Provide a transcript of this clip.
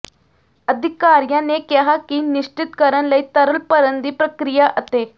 ਅਧਿਕਾਰੀਆਂ ਨੇ ਕਿਹਾ ਕਿ ਨਿਸ਼ਚਿਤ ਕਰਨ ਲਈ ਤਰਲ ਭਰਨ ਦੀ ਪ੍ਰਕਿਰਿਆ ਅਤੇ